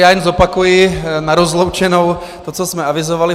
Já jen zopakuji na rozloučenou to, co jsme avizovali.